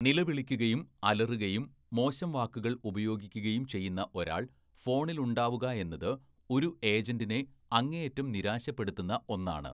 നിലവിളിക്കുകയും അലറുകയും മോശം വാക്കുകൾ ഉപയോഗിക്കുകയും ചെയ്യുന്ന ഒരാൾ ഫോണിലുണ്ടാവുകയെന്നത് ഒരു ഏജന്റിനെ അങ്ങേയറ്റം നിരാശപ്പെടുത്തുന്ന ഒന്നാണ്.